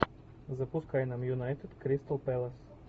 запускай нам юнайтед кристал пэлас